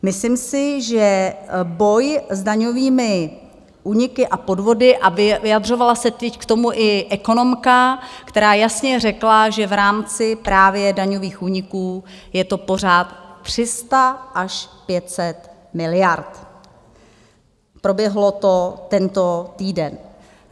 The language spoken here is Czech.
Myslím si, že boj s daňovými úniky a podvody - a vyjadřovala se teď k tomu i ekonomka, která jasně řekla, že v rámci právě daňových úniků je to pořád 300 až 500 miliard, proběhlo to tento týden.